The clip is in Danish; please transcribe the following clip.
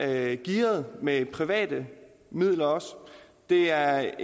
det gearet med private midler det er